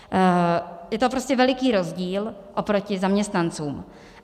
Je to prostě veliký rozdíl oproti zaměstnancům.